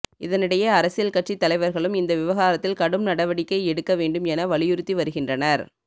இதனிடையே அரசியல் கட்சி தலைவர்களும் இந்த விவகாரத்தில் கடும் நடவடிக்கை எடுக்க வேண்டும் என வலியுறுத்தி வருகின்றனர்